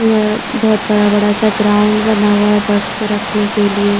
अ बहुत बड़ा-बड़ा सा ग्राउन्ड बना हुआ है बस को रखने के लिए।